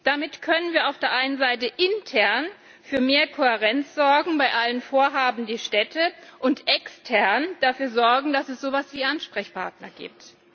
Damit können wir auf der einen Seite intern für mehr Kohärenz sorgen bei allen Vorhaben, die Städte betreffen, und extern dafür sorgen, dass es so etwas wie Ansprechpartner gibt.